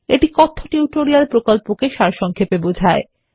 এটি কথ্য টিউটোরিয়াল প্রকল্পকে সারসংক্ষেপে বোঝায়